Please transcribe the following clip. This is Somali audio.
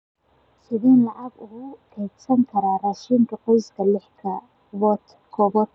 Sideen lacag ugu kaydsan karaa raashinka qoyska lix ka kooban?